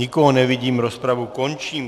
Nikoho nevidím, rozpravu končím.